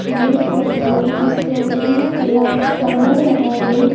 ये फोटो किसी सुनसान इलाके का लग रहा है।